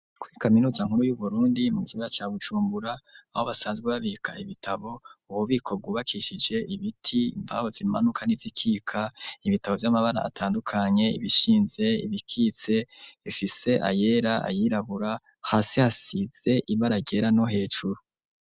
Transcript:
kuri kaminuza nkuru y'Uburundi mu kigo ca Bujumbura aho basanzwe babika ibitabo, ububiko bwubakishije ibiti, imbaho zimanuka n'izikika, ibitabo vy'amabara atandukanye, ibishinze ibikitse bifise ayera ayirabura, hasi hasize ibara ryera no hejuru.